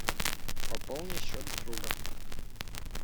пополни счет друга